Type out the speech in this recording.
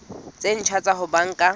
tse ntjha tsa ho banka